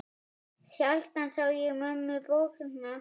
Sjaldan sá ég mömmu bogna.